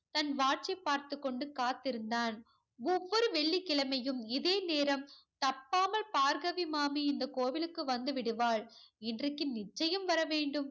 தன் watch சை பார்த்துக்கொண்டு காத்திருந்தான். ஒவ்வொரு வெள்ளிக் கிழமையும் இதே நேரம் தப்பாமல் பார்கவி மாமி இந்தக் கோவிலுக்கு வந்து விடுவாள். இன்றைக்கு நிச்சயம் வர வேண்டும்.